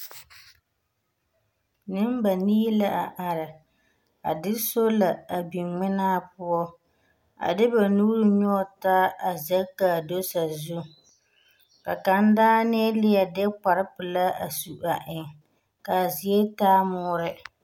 Nembanii la are. A de sola a biŋ ŋmenaa poɔ a de ba nuuri nyɔge taa zɛge ka do sazu. Ka kaŋ daanee leɛ de kpare pelaa a su a eŋ. Ka a zie taa moore.